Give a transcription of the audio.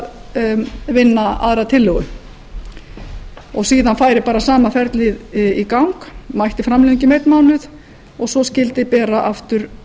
að vinna aðra tillögu síðan færi sama ferlið í gang mætti framlengja um einn mánuð og svo skyldi bera aftur